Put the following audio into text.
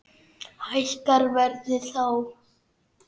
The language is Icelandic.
Hækkar verðið þá?